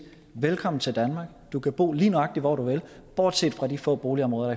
velkommen til danmark du kan bo lige nøjagtig hvor du vil bortset fra de få boligområder